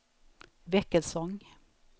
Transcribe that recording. Väckelsång